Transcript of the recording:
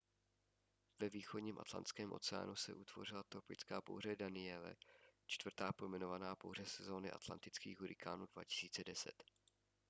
ve východním atlantském oceánu se utvořila tropická bouře danielle čtvrtá pojmenovaná bouře sezóny atlantických hurikánů 2010